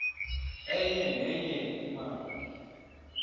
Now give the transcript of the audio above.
enye nenye imali